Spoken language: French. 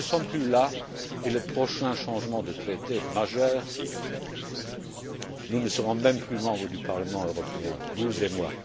Mais nous ne sommes plus là et, lors du prochain changement de traité majeur, nous ne serons même plus membres du Parlement européen, vous et moi...